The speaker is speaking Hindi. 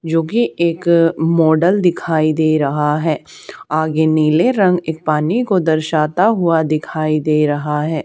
जो कि एक मॉडल दिखाई दे रहा है आगे नीले रंग एक पानी को दर्शाता हुआ दिखाई दे रहा है।